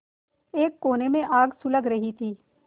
एक कोने में आग सुलग रही थी